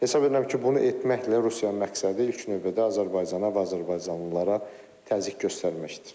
Hesab edirəm ki, bunu etməklə Rusiyanın məqsədi ilk növbədə Azərbaycana və azərbaycanlılara təzyiq göstərməkdir.